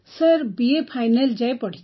sir BA final ଯାଏଁ